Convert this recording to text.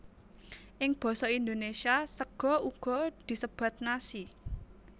Ing basa Indonesia sega uga disebat nasi